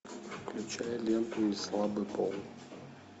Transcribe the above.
включай ленту неслабый пол